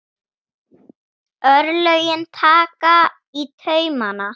Örlögin taka í taumana